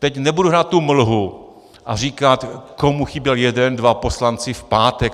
Teď nebudu hrát tu mlhu a říkat, komu chyběl jeden dva poslanci v pátek.